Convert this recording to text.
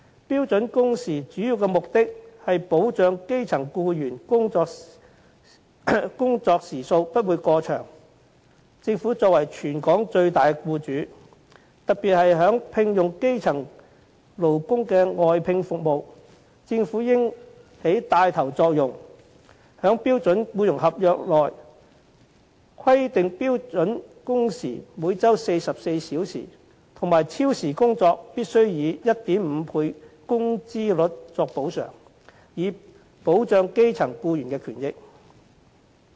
標準工時的主要目的是保障基層僱員工作時數不會過長，政府作為全港最大僱主，特別是在聘用基層勞工的外聘服務方面，政府應起帶頭作用，在標準僱傭合約內規定標準工時每周44小時和超時工作必須以 1.5 倍工資率作補償，以保障基層僱員的權益。